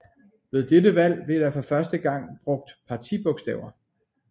Ved dette valg blev der for første gang brugt partibogstaver